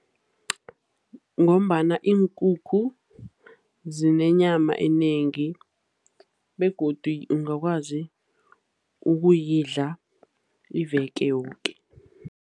Ngombana iinkukhu zinenyama enengi begodu ungakwazi ukuyidla iveke yoke.